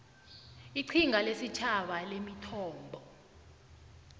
iqhinga lesitjhaba lemithombo